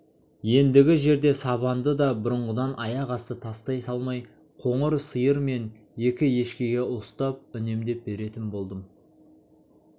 ендігі жерде сабанды да бұрынғыдан аяқ асты тастай салмай қоңыр сиыр мен екі ешкіге уыстап үнемдеп беретін болдым